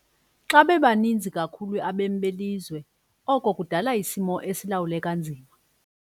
Xa bebaninzi kakhulu abemi belizwe oko kudala isimo esilawuleka nzima.